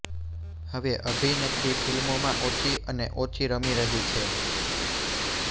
હવે અભિનેત્રી ફિલ્મોમાં ઓછી અને ઓછી રમી રહી છે